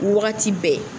Wagati bɛɛ